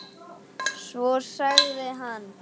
Svo sagði hann